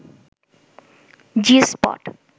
জি spot